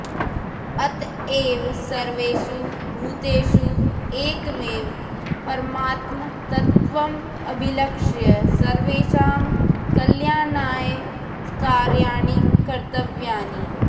अत एव सर्वेषु भूतेषु एकमेव परमात्मतत्त्वमभिलक्ष्य सर्वेषां कल्याणाय कार्याणि कर्त्तव्यानि